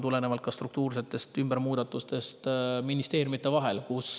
Tulenevalt struktuursetest muudatustest ministeeriumide vahel.